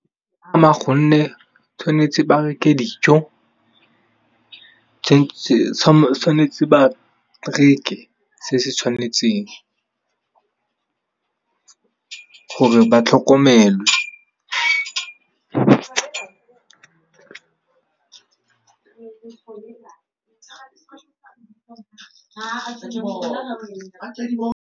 Gonne tshwanetse ba reke dijo, tshwanetse ba reke se se tshwanetseng. Gore ba tlhokomelwe.